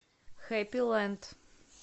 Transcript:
хэппи лэнд